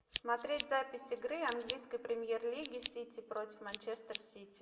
смотреть запись игры английской премьер лиги сити против манчестер сити